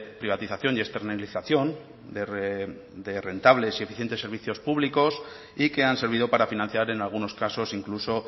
privatización y externalización de rentables y eficientes servicios públicos y que han servido para financiar en algunos casos incluso